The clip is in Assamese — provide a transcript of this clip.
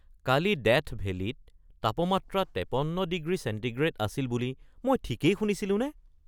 কালি ডেথ ভেলীত তাপমাত্ৰা ৫৩ ডিগ্ৰী চেণ্টিগ্ৰেড আছিল বুলি মই ঠিকেই শুনিছিলোঁনে?